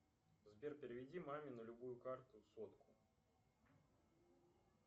сбер переведи маме на любую карту сотку